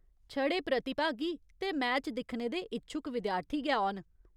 छड़े प्रतिभागी ते मैच दिक्खने दे इच्छुक विद्यार्थी गै औन।